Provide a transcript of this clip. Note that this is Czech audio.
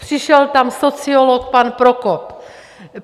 Přišel tam sociolog pan Prokop.